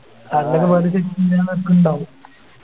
ണ്ടാവും